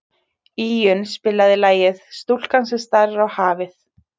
Íunn, spilaðu lagið „Stúlkan sem starir á hafið“.